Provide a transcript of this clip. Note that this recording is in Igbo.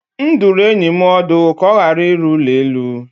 M dụrụ enyi m ọdụ ka ọ ghara ịrụ ụlọ elu.